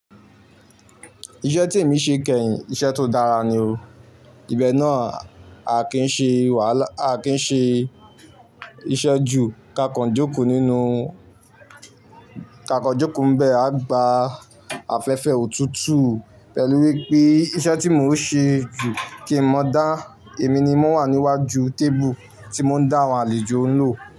Iṣẹ́ tí èmi ṣe kẹ́yìn, iṣẹ́ tó dára ni o. Ìbẹ náà a kì í n ṣe wàhálà, a kì í ṣe iṣẹ́ ju. Ka kàn jókòó nínú, ka kàn jókòó n bẹ̀, a gba afẹ́fẹ́ òtútù pẹ̀lú wípé iṣẹ́ tí mò ń ṣe jù kì í mọ dá èmi ni mó wà níwájú tébù tí mò ń dá àwọn àlejò ń lò.